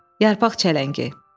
Yarpaq çələngi.